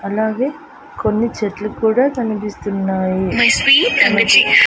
అలాగే కొన్ని చెట్లు కూడా కనిపిస్తున్నాయి.